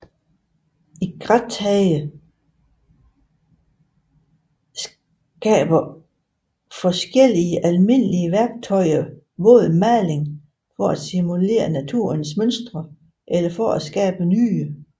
I grattage skraber forskellige almindelige værktøjer våd maling for at simulere naturlige mønstre eller for at skabe nye